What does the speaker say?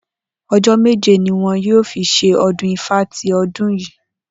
O̩jó̩ méje ni wo̩n yóò fi s̩e o̩dún Ifá ti o̩dún yìí